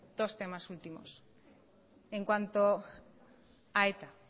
dos temas últimos en cuanto a eta